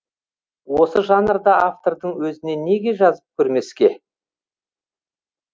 осы жанрда автордың өзіне неге жазып көрмеске